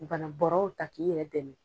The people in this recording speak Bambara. Bana bɔrɔw ta k'i yɛrɛ dɛmɛ.